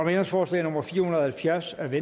ændringsforslag nummer fire hundrede og halvfjerds af v